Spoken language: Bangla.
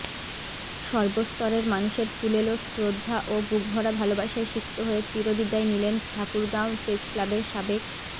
সর্বস্তরের মানুষের ফুলেল শ্রদ্ধা ও বুকভরা ভালোবাসায় সিক্ত হয়ে চীর বিদায় নিলেন ঠাকুরগাঁও প্রেসক্লাবের সাবেক